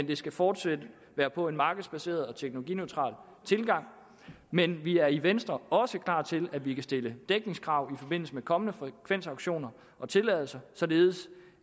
det skal fortsat være på en markedsbaseret og teknologineutral tilgang men vi er i venstre også klar til at vi kan stille dækningskrav i forbindelse med kommende frekvensauktioner og tilladelser således